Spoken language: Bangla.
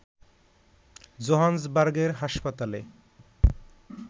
জোহান্সবার্গের হাসপাতালে